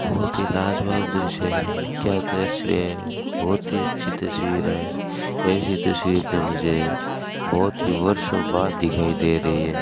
बहोत ही लाजवाब दृश्य है क्या दृश्य है बहोत ही अच्छी तस्वीर है ऐसी तस्वीर तो मुझे बहोत ही वर्षों बाद दिखाई दे रही है।